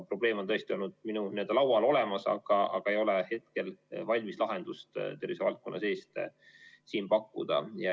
Probleem on tõesti olnud minu laual, aga valmis lahendust ei ole tervishoiuvaldkonna seest pakkuda.